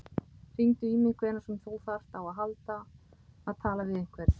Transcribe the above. Hringdu í mig hvenær sem þú þarft á því að halda að tala við einhvern.